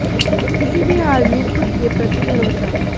किसी भी हाल में खुद के प्रति भरोसा